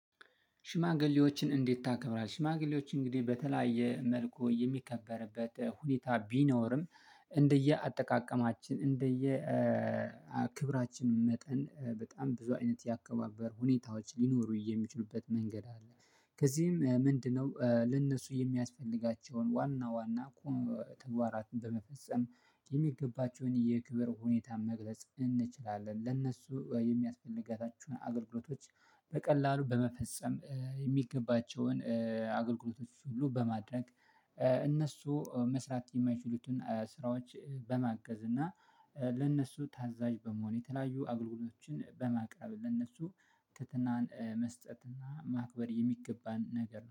ሽማግሌዎችን እንዴት ታከብራለ? ሽማግሌዎች እንግዲህ በተለያየ መልኩ የሚከበርበት ሁኔታ ቢኖርም እንደየ አጠቃቀማችን እንደየ ክብራችን መጠን በጣም ብዙ አይነት ያከባበር ሁኔታዎች ሊኖሩ የሚችሉበት መንገድ አለ። ከዚህም ምንድነው ለእነሱ የሚያስፈልጋቸውን ዋና ዋና ተግባራት በመፈጸም የሚገባቸውን የክብር ሁኔታ መግለጽ እንችላለን። ለእነሱ የሚያስፈልጋቸውን አገልግሎቶች በቀላሉ በመፈጸም የሚገባቸውን አገልግሎቶች ሁሉ በማድረግ እነሱ መስራት የማይችሉትን ስራዎች በማገዝ እና ለእነሱ ታዛዥ በመሆን፣ የተለያዩ አገልግሎችን በማቅረብ፣ ለእነሱ ትህትናን መስጠትና ማክበር የሚገባን ነገር ነው።